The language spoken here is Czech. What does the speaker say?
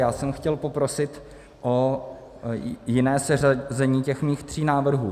Já jsem chtěl poprosit o jiné seřazení těch mých tří návrhů.